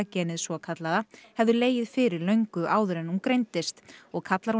genið svokallaða hefðu legið fyrir löngu áður en hún greindist og kallar